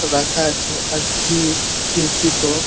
রাখা আছে আর খির খিড়কি টো--